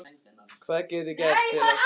Hvað get ég gert til að stöðva það?